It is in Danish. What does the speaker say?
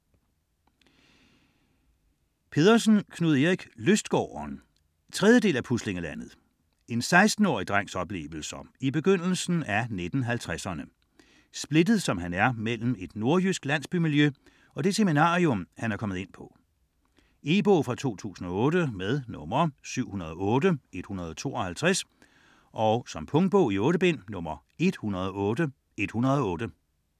Pedersen, Knud Erik: Lystgården 3. del af Puslinglandet. En 16-årig drengs oplevelser i begyndelsen af 1950'erne, splittet som han er mellem et nordjysk landsbymiljø og det seminarium, som han er kommet ind på. E-bog 708152 2008. Punktbog 108108 2008. 8 bind.